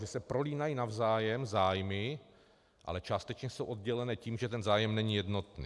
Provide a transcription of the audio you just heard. Že se prolínají navzájem zájmy, ale částečně jsou oddělené tím, že ten zájem není jednotný.